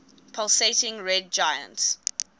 pulsating red giant